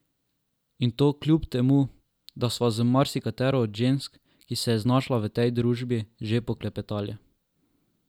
In to kljub temu, da sva z marsikatero od žensk, ki se je znašla v tej družbi, že poklepetali.